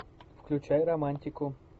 включай романтику